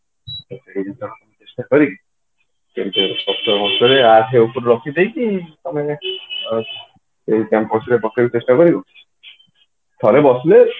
ଚେଷ୍ଟା କରିକି କେମିତି କଷ୍ଟ ମଷ୍ଟ ରେ ଆଠେ ଉପରକୁ ରଖି ଦେଇକି ତମେ ଏଇ campus re ପକେଇବାକୁ ଚେଷ୍ଟା କରିବ ଥରେ ବସିଲେ